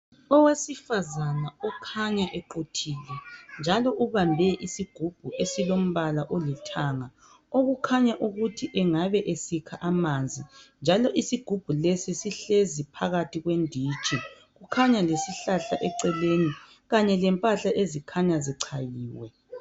Owesifazana okhanya equthile njalo ubambe isigubhu esilombala olithanga okukhanya ukuthi engabe esikha amanzi njalo isigubhu lesi sihlezi phakathi kwenditshi kukhanya lesihlahla eceleni kanye lempahla ezikhanya zichayiwe.